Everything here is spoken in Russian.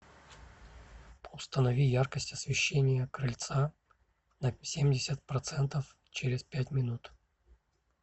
установи яркость освещение крыльца на семьдесят процентов через пять минут